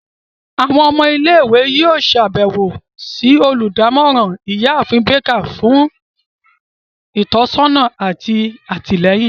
Awọn ọmọ ile-iwe yoo ṣabẹwo si oludamoran, Iyaafin Baker, fun itọsọna ati atilẹyin.